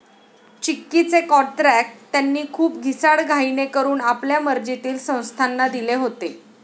चिक्कीचे कॉत्र्याक त्यांनी खूप घिसाडघाईने करून आपल्या मर्जीतील संस्थाना दिले होते.